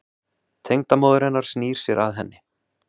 Tengdamóðir hennar snýr sér að henni.